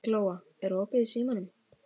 Glóa, er opið í Símanum?